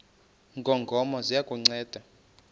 ngongoma ziya kukunceda